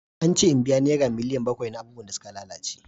An ce in biya naira miliyan bakwai na abubuwan da suka lalace.